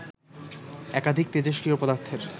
একাধিক তেজস্ক্রিয় পদার্থের